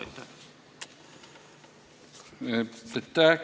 Aitäh!